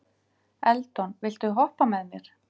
Eldon, viltu hoppa með mér?